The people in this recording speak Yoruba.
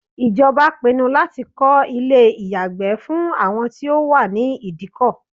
Ìjọba pinnu láti kọ́ ilé ìyàgbẹ́ fún àwọn tí ó wà ní Ìdíkọ̀.